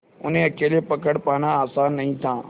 उन्हें अकेले पकड़ पाना आसान नहीं था